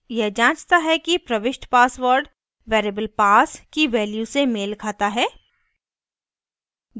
यह जाँचता है कि प्रविष्ट password variable pass की value से मेल खाता है